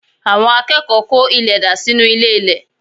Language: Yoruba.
Àwọn akẹ́kọ̀ọ́ kó ilẹ̀ dà sínú ilé-ilẹ̀